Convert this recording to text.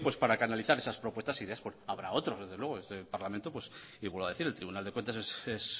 para canalizar esas propuestas e ideas habrá otras desde luego en este parlamento vuelvo a decir el tribunal de cuentas es